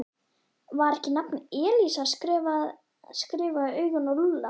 Var ekki nafnið Elísa skrifað í augun á Lúlla?